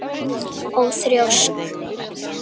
Og þrjósk.